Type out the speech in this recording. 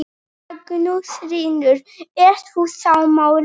Magnús Hlynur: Ert þú sammála?